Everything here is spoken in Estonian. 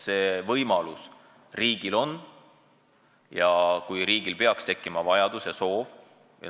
See võimalus riigil on, kui peaks tekkima vajadus ja soov.